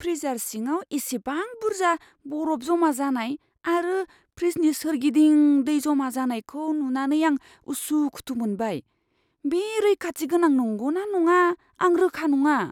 Freezer सिङाव इसिबां बुरजा बरफ जमा जानाय आरो फ्रिजनि सोरगिदिं दै जमा जानायखौ नुनानै आं उसुखुथु मोनबाय, बे रैखाथि गोनां नंगौ ना नङा आं रोखा नङा।